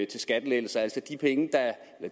til skattelettelser altså